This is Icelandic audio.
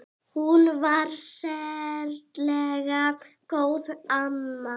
Hún var sérlega góð amma.